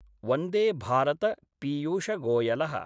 Vande Bharat Piyush Goyal: